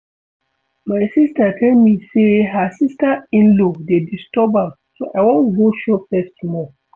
My sister tell me say her sister in-law dey disturb am so I wan go show face small